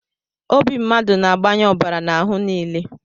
Obi mmadụ na-agbanye ọbara n'ahụ nile